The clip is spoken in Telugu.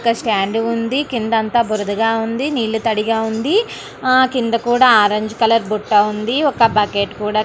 ఒక స్టాండ్ ఉంది. కింద అంత బురదగా ఉంది. నీళ్లు తడిగా ఉంది. ఆ కింద కూడా ఆరంజ్ కలర్ బుట్ట ఉంది. ఒక బకెట్ కూడా--